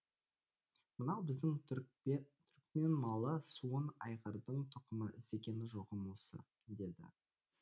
мынау біздің түрікмен малы суын айғырдың тұқымы іздеген жоғым осы деді